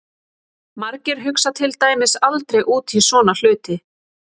Margir hugsa til dæmis aldrei út í svona hluti!